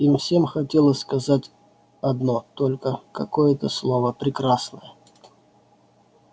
им всем хотелось сказать одно только какое-то слово прекрасное